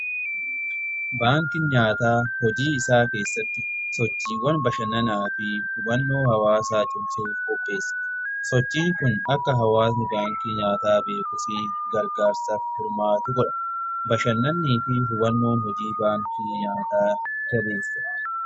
Baankii nyaataa hojii isaa keessatti sochiiwwan bashannanaa fi hubannoo hawaasaa cimsuu qopheessa. Sochii kun akka hawaasni baankii nyaataa beekuubfi gargaarsa hirmaatu godha. Bashannanni fi hubannoon hojii baankii nyaataa jabeessa.